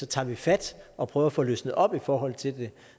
tager vi fat og prøver at få løsnet op i forhold til det